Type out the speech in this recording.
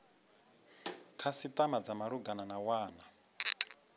khasitama dza malugana na wana